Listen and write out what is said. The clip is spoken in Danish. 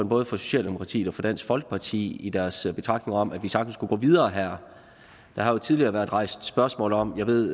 både fra socialdemokratiet og fra dansk folkeparti i deres betragtning om at vi sagtens kunne gå videre her der har jo tidligere været rejst spørgsmål om og jeg ved